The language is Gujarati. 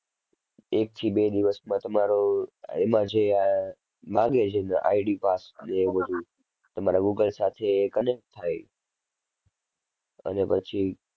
એકથી બે દિવસમાં તમારો એમાં જે અર માંગે જે ID pass ને એવું બધુ તમારા Google સાથે એ connect થાય અને પછી